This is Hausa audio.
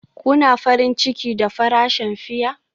Kuna farin ciki da farashin fiya?